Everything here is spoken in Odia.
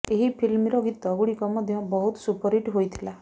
ଏହି ଫିଲ୍ମର ଗୀତ ଗୁଡିକ ମଧ୍ୟ ବହୁତ ସୁପରହିଟ ହୋଇଥିଲା